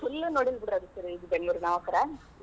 Full ನೋಡಿಲ್ ಬಿಡ್ರಿ ನಾವ್ ಬೆಂಗಳೂರ್ ನಾವಂಕರ.